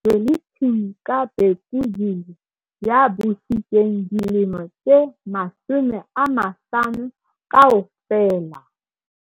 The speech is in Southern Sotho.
Zwelithini ka Bhekuzulu ya busitseng dilemo tse 50 kaofela.